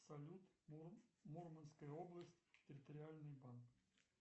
салют мурманская область территориальный банк